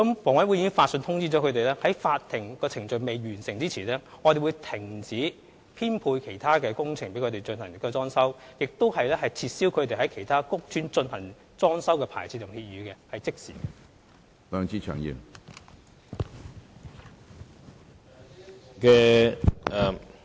房委會已經發信通知他們，在法律程序未完結前，當局會停止編配他們駐邨/苑承辦其他工程，亦會撤銷他們在其他屋邨承辦裝修工程的牌照/協議，是即時進行的。